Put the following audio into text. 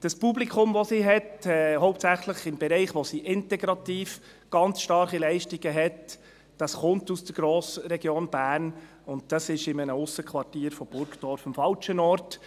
Das Publikum, das sie hat, hauptsächlich in dem Bereich, wo sie integrativ ganz starke Leistungen hat, dieses kommt aus der Grossregion Bern, und das ist in einem Aussenquartier von Burgdorf am falschen Ort.